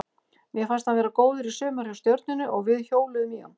Mér fannst hann vera góður í sumar hjá Stjörnunni og við hjóluðum í hann.